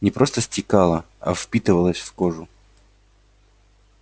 не просто стекала а впитывалась в кожу